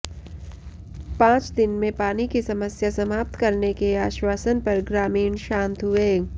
पांच दिन में पानी की समस्या समाप्त करने के आश्वासन पर ग्रामीण शांत हुए